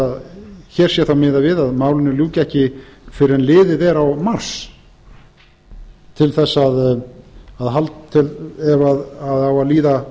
hvort hér sé þá miðað við hvort málinu ljúki ekki fyrr en liðið er á mars ef á að líða